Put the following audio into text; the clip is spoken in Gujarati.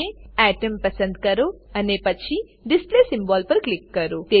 એટોમ એટમ પસંદ કરો અને પછી ડિસ્પ્લે સિમ્બોલ ડિસ્પ્લે સિમ્બોલ પર ક્લિક કરો